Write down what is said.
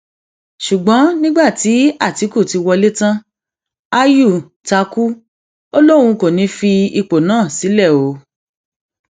ṣùgbọn nígbà tí àtìkù ti wọlé tán ayù ta kú ó lóun kò ní í fi ipò náà sílẹ o